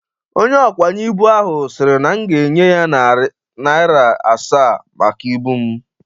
Onye ọkwanye ibụ ahụ siri na m ga-enye ya narị narịa asaa maka ibụ m.